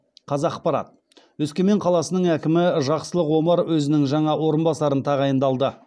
қазақпарат өскемен қаласының әкімі жақсылық омар өзінің жаңа орынбасарын тағайындалды